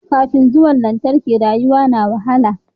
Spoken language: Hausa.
Kafin zuwan lantarki rayuwa na wahala